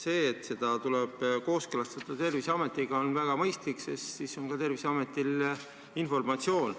" See, et see tuleb kooskõlastada, on väga mõistlik, sest siis on ka Terviseametil informatsioon.